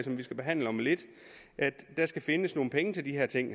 vi skal behandle om lidt der skal findes nogle penge til de her ting